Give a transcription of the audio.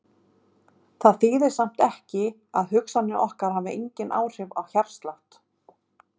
Það þýðir samt ekki að hugsanir okkar hafi engin áhrif á hjartslátt.